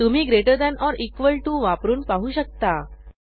तुम्ही greater than or equal to वापरून पाहू शकता